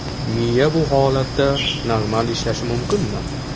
Miya bu holatda normal ishlashi mumkinmi?